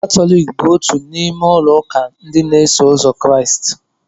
Katọlik bụ otú n'ime ụlọ ụka ndị na-eso ụzọ Kraịst.